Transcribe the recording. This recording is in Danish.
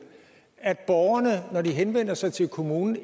at borgerne når de henvender sig til kommunen